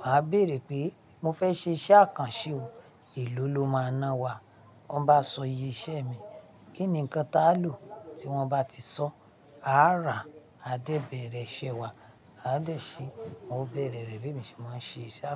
màá bèèrè pé "mo fẹ́ ṣe iṣẹ́ àkànṣe o, èló lo máa ná wá?" Wọ́n bá sọ iye iṣẹ́ mi, kí ni nǹkan tá lò. Tí wọ́n bá ti sọ, a á rà á, a dé bẹ̀rẹ̀ iṣẹ́ wa. A á dẹ̀ se, won o bẹ̀rẹ̀ rẹ̀ bí èmi ṣe máa ń ṣe iṣẹ́ àkànṣe.